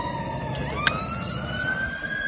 uthe xa asazama